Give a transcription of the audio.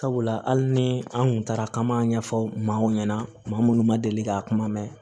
Sabula hali ni an kun taara ka ma ɲɛfɔ maaw ɲɛna maa munnu ma deli ka kuma mɛn